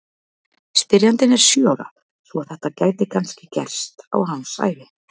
Spyrjandinn er sjö ára svo að þetta gæti kannski gerst á hans ævi!